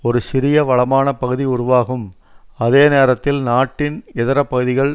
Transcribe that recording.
ஒரு சிறிய வளமான பகுதி உருவாகும் அதே நேரத்தில் நாட்டின் இதர பகுதிகள்